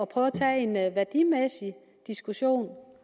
prøve at tage en værdimæssig diskussion om